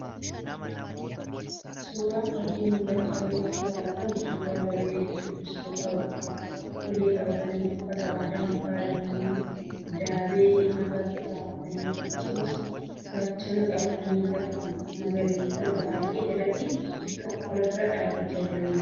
Suuraan fakii mul'achaa jiru irraa argamu, suuraa garee shubbistootaa Oromoo ulee qabatanii, uffata aadaan faayamanii, daabee mataatti keewwatanii akkasumas gaachana qabatanii lafa magariisa baay'ee ijatti tolu irra dhaabachaa jiraniitu mul'ata. Warreen duubaa ammoo farda yaabbatanii kan jiranidha.